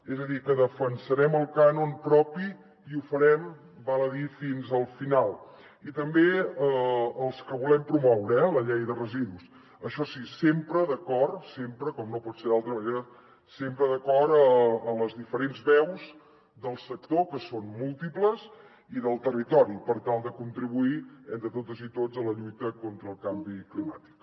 és a dir que defensarem el cànon propi i ho farem val a dir fins al final i també els que volem promoure eh amb la llei de residus això sí sempre d’acord sempre com no pot ser d’altra manera sempre d’acord amb les diferents veus del sector que són múltiples i del territori per tal de contribuir entre totes i tots a la lluita contra el canvi climàtic